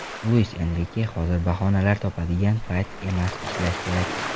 Luis Enrike: Hozir bahonalar topadigan payt emas, ishlash kerak.